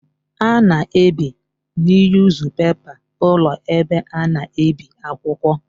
A na ebi niyuzupepa ụlọ ebe a na-ebi akwụkwọ.